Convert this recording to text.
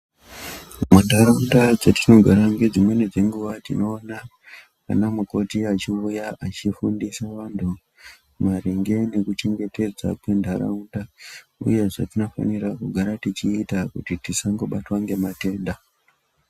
Mundaraunda dzatinogara nedzimweni dzenguwa ana mukoti achiuya achifundisa vantu maringe nekuchengetedza kwendaraunda uye zve tinofana kugara tichiita Kuti tisabatwa nematenda.